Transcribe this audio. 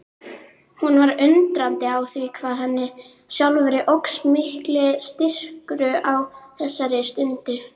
Hún var undrandi á því hvað henni sjálfri óx mikill styrkur á þessari stundu.